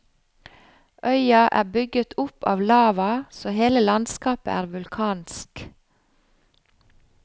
Øya er bygget opp av lava, så hele landskapet er vulkansk.